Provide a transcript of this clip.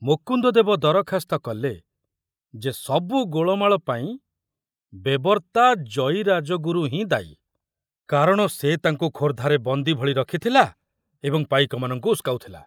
ମୁକୁନ୍ଦଦେବ ଦରଖାସ୍ତ କଲେ ଯେ ସବୁ ଗୋଳମାଳ ପାଇଁ ବେବର୍ତ୍ତା ଜୟୀ ରାଜଗୁରୁ ହିଁ ଦାୟୀ, କାରଣ ସେ ତାଙ୍କୁ ଖୋର୍ଦ୍ଧାରେ ବନ୍ଦୀ ଭଳି ରଖୁଥିଲା ଏବଂ ପାଇକମାନଙ୍କୁ ଉସକାଉଥିଲା।